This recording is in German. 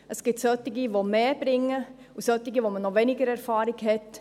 Es gibt solche, die mehr bringen, und solche, mit denen man noch weniger Erfahrung hat.